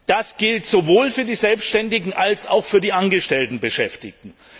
Das gilt sowohl für die Selbständigen als auch für die angestellten Beschäftigten.